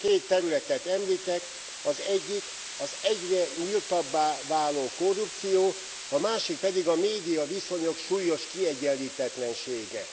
Két területet említek, az egyik az egyre nyíltabbá váló korrupció, a másik pedig a médiaviszonyok súlyos kiegyenlítetlensége.